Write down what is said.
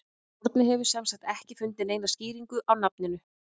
Árni hefur sem sagt ekki fundið neina skýringu á nafninu.